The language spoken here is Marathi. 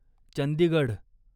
चंदीगढ